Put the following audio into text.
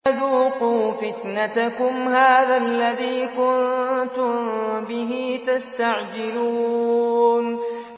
ذُوقُوا فِتْنَتَكُمْ هَٰذَا الَّذِي كُنتُم بِهِ تَسْتَعْجِلُونَ